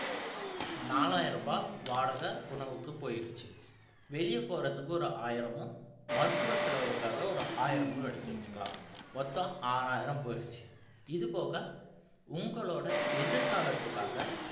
நாலாயிரம் ரூபாய் வாடகை உணவுக்கு போயிருச்சு வெளிய போறதுக்கு ஒரு ஆயிரமும் மருத்துவ செலவுக்காக ஒரு ஆயிரமும் எடுத்து வச்சுக்கலாம் மொத்தம் ஆறாயிரம் போயிருச்சு இது போக உங்களோட எதிர்காலத்துக்காக